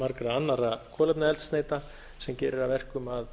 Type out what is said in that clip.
margra annarra kolefniseldsneyta sem gerir að verkum að